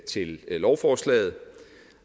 til lovforslaget